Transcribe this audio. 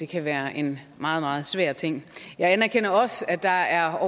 kan være en meget meget svær ting jeg anerkender også at der er